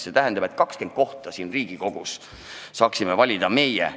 See tähendab, et 20 kohta siin Riigikogus peaksime saama valida meie.